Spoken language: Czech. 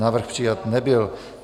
Návrh přijat nebyl.